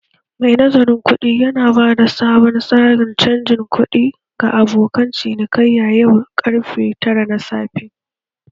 Mai nazarin kuɗi ya bada sabon tsarin canjin kuɗi ga abokan cinikayya yau karfe tara na safe.